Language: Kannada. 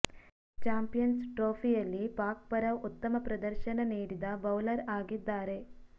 ಚಾಂಪಿಯನ್ಸ್ ಟ್ರೋಫಿಯಲ್ಲಿ ಪಾಕ್ ಪರ ಉತ್ತಮ ಪ್ರದರ್ಶನ ನೀಡಿದ ಬೌಲರ್ ಆಗಿದ್ದಾರೆ